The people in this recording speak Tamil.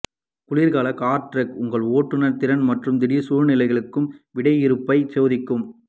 குளிர்கால கார்ட் டிராக் உங்கள் ஓட்டுநர் திறன் மற்றும் திடீர் சூழ்நிலைகளுக்கு விடையிறுப்பை சோதிக்கும்